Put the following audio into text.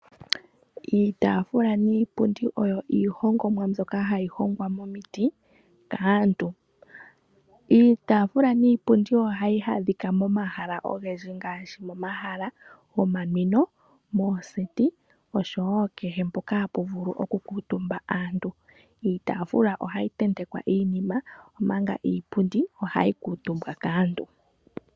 Iitaafula niipundi oyo iihongomwa mbyoka hayi hongwa momiti kaantu. Iitaafula niipundi ohayi adhika momahala ogendji ngaashi momahala gomanwino, mooseti , oshowo kehe mpoka hapu vulu okukuutumba aantu. Iitaafula ohayi tentekwa iinima, manga iipundi ohayi kuutumbwa kaantu.